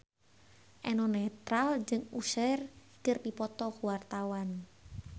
Eno Netral jeung Usher keur dipoto ku wartawan